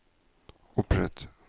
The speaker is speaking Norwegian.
opprett